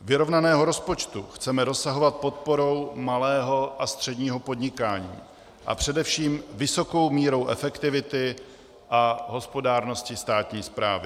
Vyrovnaného rozpočtu chceme dosahovat podporou malého a středního podnikání a především vysokou mírou efektivity a hospodárností státní správy.